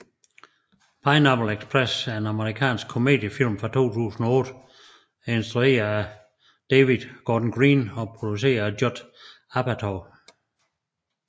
Pineapple Express er en amerikansk komediefilm fra 2008 instrueret af David Gordon Green og produceret af Judd Apatow